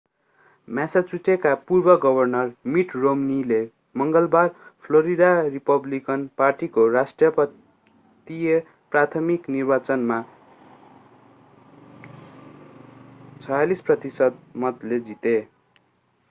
मासाचुसेटका पूर्व governor mitt romney ले मङ्गलबार फ्लोरिडा रिपब्लिकन पार्टीको राष्ट्रपतीय प्राथमिक निर्वाचनमा 46 प्रतिशत मतले जिते